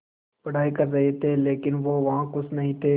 पढ़ाई कर रहे थे लेकिन वो वहां ख़ुश नहीं थे